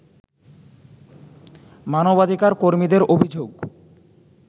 মানবাধিকার কর্মীদের অভিযোগ